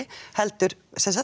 heldur